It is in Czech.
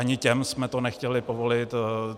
Ani těm jsme to nechtěli povolit.